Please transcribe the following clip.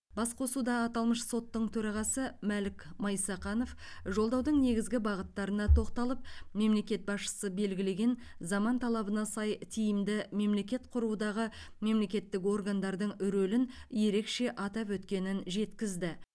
басқосуда аталмыш соттың төрағасы мәлік майсақанов жолдаудың негізгі бағыттарына тоқталып мемлекет басшысы белгілеген заман талабына сай тиімді мемлекет құрудағы мемлекеттік органдардың рөлін ерекше атап өткенін жеткізді